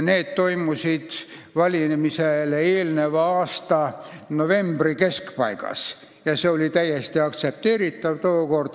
Need tehti valimisele eelneva aasta novembri keskpaigas ja see oli tookord täiesti aktsepteeritav.